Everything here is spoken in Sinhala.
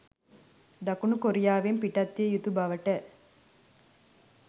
දකුණු කොරියාවෙන් පිටත් විය යුතු බවට